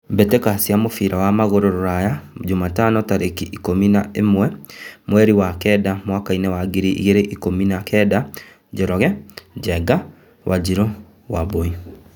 Mbĩtĩka cia mũbira wa magũrũ Ruraya Jumatano tarĩki ikũmi na ĩmwe mweri wa kenda mwakainĩ wa ngiri igĩrĩ na ikũmi na kenda :Njoroge, Njenga, Wanjiru, Wambui.